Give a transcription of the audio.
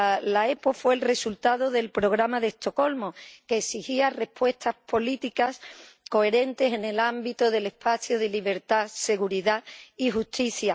La OEP fue el resultado del Programa de Estocolmo, que exigía respuestas políticas coherentes en el ámbito del espacio de libertad, seguridad y justicia.